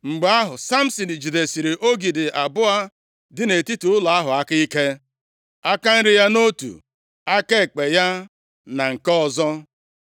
Mgbe ahụ, Samsin jidesiri ogidi abụọ dị nʼetiti ụlọ ahụ aka ike, aka nri ya nʼotu, aka ekpe ya na nke ọzọ.